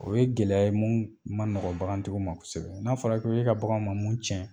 O ye gɛlɛya ye mun ma nɔgɔ bagangantigiw ma kosɛbɛ, n'a fɔra k'e ka bagan ma mun tiɲɛ